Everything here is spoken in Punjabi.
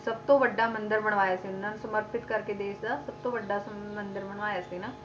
ਸਭ ਤੋਂ ਵੱਡਾ ਮੰਦਿਰ ਬਣਵਾਇਆ ਸੀ ਇਹਨਾਂ ਨੇ, ਸਮਰਪਿਤ ਕਰਕੇ ਦੇਸ ਦਾ ਸਭ ਤੋਂ ਵੱਡਾ ਮੰਦਿਰ ਬਣਵਾਇਆ ਸੀ ਨਾ,